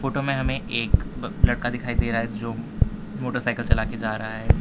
Photo हमें एक ब लड़का दिखाई दे रहा है जो मोटरसाइकिल चला के जा रहा है।